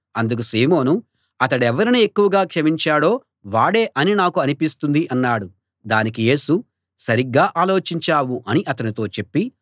అందుకు సీమోను అతడెవరిని ఎక్కువ క్షమించాడో వాడే అని నాకు అనిపిస్తుంది అన్నాడు దానికి యేసు సరిగ్గా ఆలోచించావు అని అతనితో చెప్పి